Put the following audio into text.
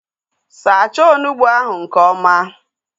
Sacha onugbu ahu nke ọma!